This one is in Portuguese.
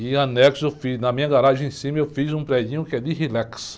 E em anexo, na minha garagem em cima, eu fiz um predinho que é de relax.